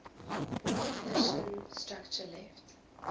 ornithischian structure left